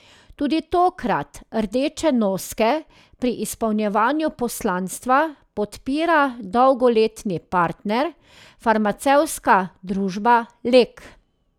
Tudi tokrat Rdeče noske pri izpolnjevanju poslanstva podpira dolgoletni partner, farmacevtska družba Lek.